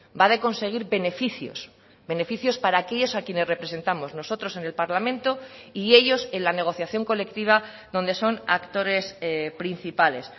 va de conseguir beneficios beneficios para aquellos a quienes representamos nosotros en el parlamento y ellos en la negociación colectiva donde son actores principales